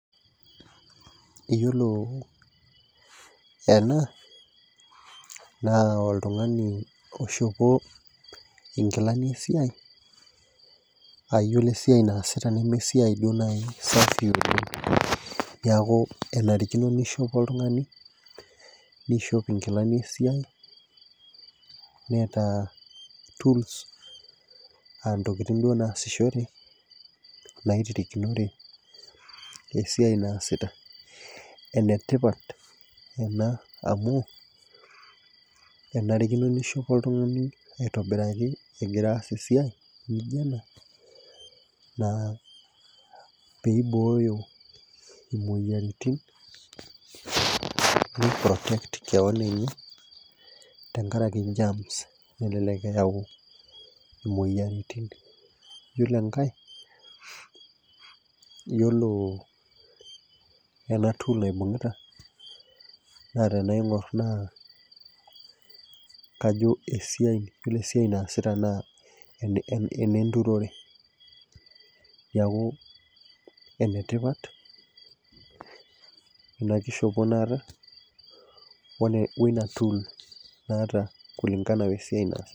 Eyiolo ena naa oltung'ani oshuku inkilani esiai ayiolo esiai naasita neme esiai duo naaji safi oleng niaku enarikino nishopo oltung'ani nishopo inkilani esiai neeta tools antokiting duo naasishore naitirikinore esiai naasita enetipat amu enarikino nishopo oltung'ani aitobiraki egira aas esiai nijio naa peibooyo imoyiaritin nei protect kewon enye tenkaraki germs elelek eyau imoyiaritin yiolo enkae yiolo ena tool naibung'ita naa tenaing'orr naa kajo esiai yiolo esiai naasita naa ene enenturore niaku enetipat ena kishopo naata one weina tool naata kulingana wesiai naa.